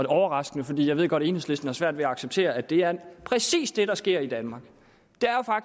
overraskende fordi jeg godt ved at enhedslisten har svært ved at acceptere at det er præcis det der sker i danmark